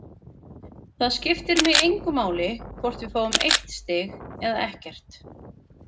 Það skiptir mig engu máli hvort við fáum eitt stig eða ekkert.